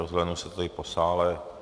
Rozhlédnu se tady po sále.